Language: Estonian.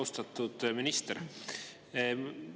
Austatud minister!